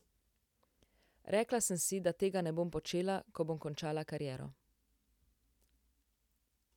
Rekla sem si, da tega ne bom počela, ko bom končala kariero.